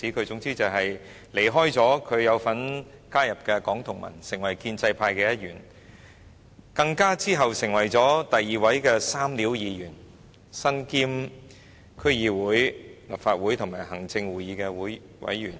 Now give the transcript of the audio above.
總言之，他離開了他曾加入的香港民主同盟後，便成為建制派的一員，之後更成為第二位"三料"議員，身兼區議會、立法會及行政會議成員。